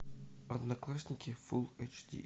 одноклассники фулл эйч ди